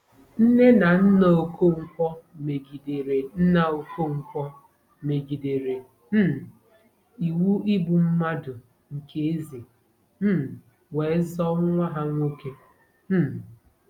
Nne na nna Okonkwo megidere nna Okonkwo megidere um iwu igbu mmadụ nke eze um wee zoo nwa ha nwoke. um